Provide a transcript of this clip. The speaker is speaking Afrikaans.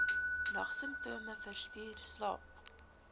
nagsimptome versteur slaap